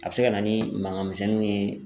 A be se ka na ni mangan misɛnninw ye